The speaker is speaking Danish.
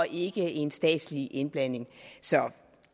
ikke er en statslig indblanding så